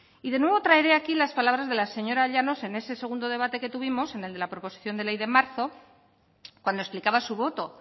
y de nuevo traeré aquí las palabras de la señora llanos en ese segundo debate que tuvimos en el de la proposición de ley de marzo cuando explicaba su voto